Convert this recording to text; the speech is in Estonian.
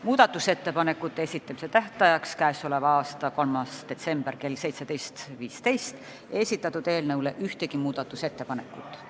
Muudatusettepanekute esitamise tähtajaks, 3. detsembriks kella 17.15-ks ei esitatud ühtegi ettepanekut.